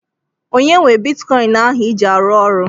Onye nwe bitikọin ahụ iji arụ ọrụ?